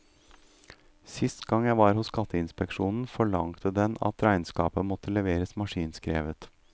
Sist gang jeg var hos skatteinspeksjonen, forlangte den at regnskapet måtte leveres maskinskrevet.